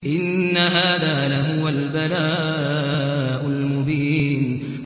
إِنَّ هَٰذَا لَهُوَ الْبَلَاءُ الْمُبِينُ